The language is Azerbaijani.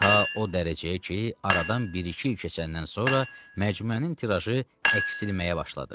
Ta o dərəcəyə ki, aradan bir-iki il keçəndən sonra məcmuənin tirajı əksilməyə başladı.